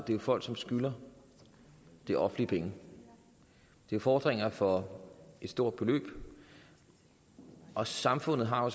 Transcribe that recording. det er folk som skylder det offentlige penge det er fordringer for et stort beløb og samfundet har